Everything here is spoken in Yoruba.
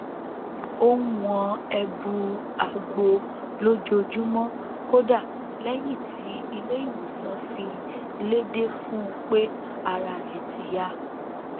ó n wọn ẹbu àgbo lójoojúmọ kódà lẹyìn tí ilé ìwòsàn fi léde fún un pé ara rẹ ti yá